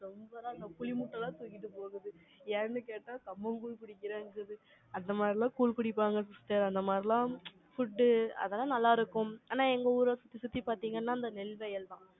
ரொம்ப லா புளி மூட்டைல super ஆ, தூக்கிட்டு போகுது. ஏன்னு கேட்டா, கம்மங்கூழ் குடிக்கிறாங்க. அந்த மாதிரி எல்லாம், கூழ் குடிப்பாங்க, sister அந்த மாதிரி எல்லாம், food அதெல்லாம் நல்லா இருக்கும். ஆனா, எங்க ஊரை சுத்தி, சுத்தி பாத்தீங்கன்னா, இந்த நெல் வயல்தான்.